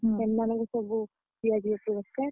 ସେମାନଙ୍କୁ ସବୁ ଦିଆଯିବ ପୁର ସ୍କାର।